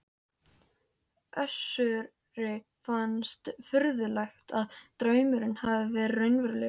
Össuri fannst furðulegt hvað draumurinn hafði verið raunverulegur.